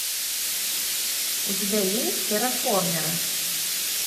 у тебя есть терраформеры